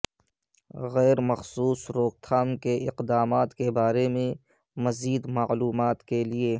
غیر مخصوص روک تھام کے اقدامات کے بارے میں مزید معلومات کے لئے